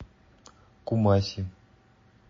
кумаси